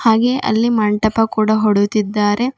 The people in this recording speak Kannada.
ಹಾಗೆ ಅಲ್ಲಿ ಮಂಟಪ ಕೂಡ ಹೊಡುದಿದ್ದಾರೆ.